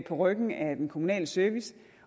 på ryggen af den kommunale service